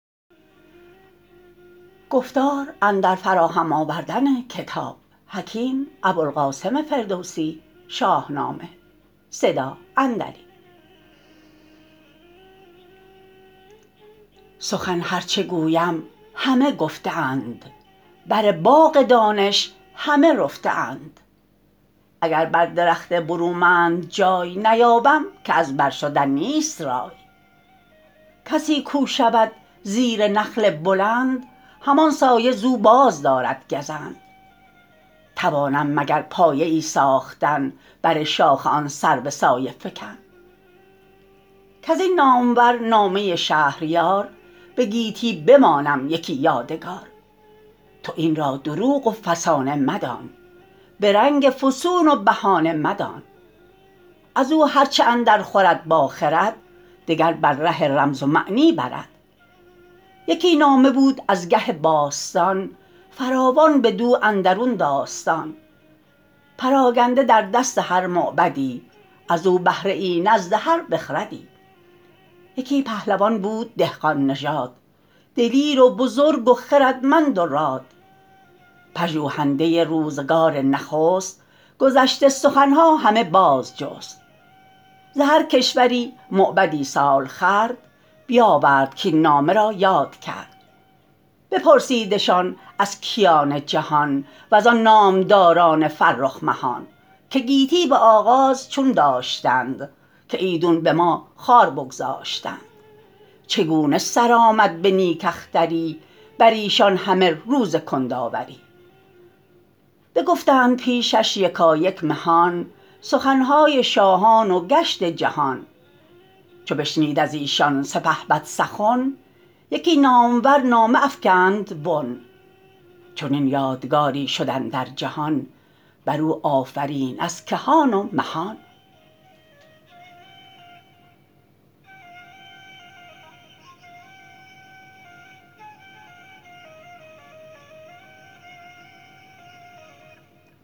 سخن هر چه گویم همه گفته اند بر باغ دانش همه رفته اند اگر بر درخت برومند جای نیابم که از بر شدن نیست رای کسی کو شود زیر نخل بلند همان سایه ز او بازدارد گزند توانم مگر پایه ای ساختن بر شاخ آن سرو سایه فکن کز این نامور نامه شهریار به گیتی بمانم یکی یادگار تو این را دروغ و فسانه مدان به رنگ فسون و بهانه مدان از او هر چه اندر خورد با خرد دگر بر ره رمز و معنی برد یکی نامه بود از گه باستان فراوان بدو اندرون داستان پراگنده در دست هر موبدی از او بهره ای نزد هر بخردی یکی پهلوان بود دهقان نژاد دلیر و بزرگ و خردمند و راد پژوهنده روزگار نخست گذشته سخن ها همه باز جست ز هر کشوری موبدی سال خورد بیاورد کاین نامه را یاد کرد بپرسیدشان از کیان جهان وزان نامداران فرخ مهان که گیتی به آغاز چون داشتند که ایدون به ما خوار بگذاشتند چگونه سر آمد به نیک اختری بر ایشان همه روز کندآوری بگفتند پیشش یکایک مهان سخن های شاهان و گشت جهان چو بشنید از ایشان سپهبد سخن یکی نامور نامه افکند بن چنین یادگاری شد اندر جهان بر او آفرین از کهان و مهان